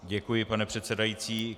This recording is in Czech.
Děkuji, pane předsedající.